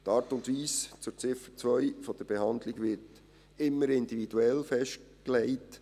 Zur Ziffer 2: Die Art und Weise der Behandlung wird immer individuell festgelegt.